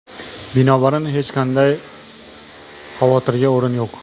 Binobarin, hech qanday xavotirga o‘rin yo‘q.